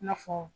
I n'a fɔ